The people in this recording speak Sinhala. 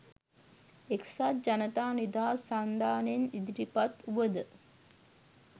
එක්සත් ජනතා නිදහස් සන්ධානයෙන් ඉදිරිපත් වුවද